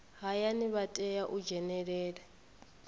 hayani vha tea u dzhenelela